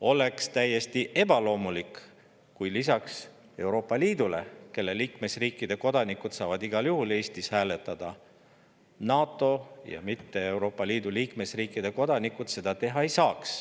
Oleks täiesti ebaloomulik, kui Euroopa Liidu liikmesriikide kodanikud saaksid igal juhul Eestis hääletada, kuid NATO‑sse kuuluvate, aga Euroopa Liitu mittekuuluvate riikide kodanikud seda teha ei saaks.